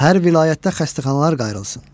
Hər vilayətdə xəstəxanalar qayrılsın.